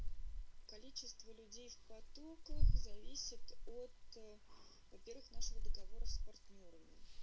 количество людей в потоках зависит от во-первых нашего договора с партнёрами